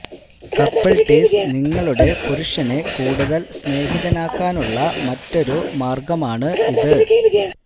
couple tease നിങ്ങളുടെ പുരുഷനെ കൂടുതല് സ്നേഹിതനാക്കാനുളള മറ്റൊരു മാര്ഗ്ഗമാണ് ഇത്